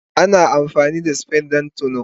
Ana amfani da spade don tono.